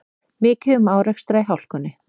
Mikið um árekstra í hálkunni